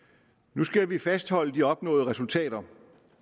nu skal vi fastholde de opnåede resultater